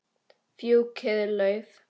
Fjúkiði lauf.